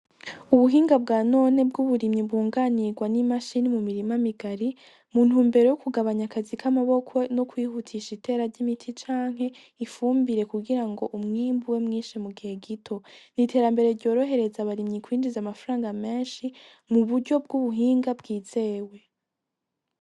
Ubuhinga bwa none bwuburimyi bwunganirwa nimashini mu mirima migari muntumbero yo kugabanya akazi kamaboko no kwihutisha itera ryimiti canke ifumbire kugirango umwimbu ube mwinshi mugihe gito niterambere ryorohereza abarimyi kwinjiza amafaranga menshi mu buryo bwubuhinga bwizewe.